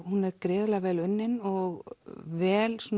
hún er gríðarlega vel unnin og vel